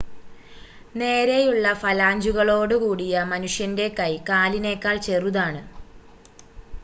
നേരെയുള്ള ഫലാഞ്ചുകളോട് കൂടിയ മനുഷ്യൻ്റെ കൈ കാലിനേക്കാൾ ചെറുതാണ്